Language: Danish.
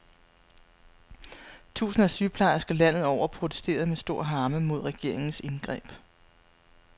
Tusinder af sygeplejersker landet over protesterede med stor harme mod regeringens indgreb.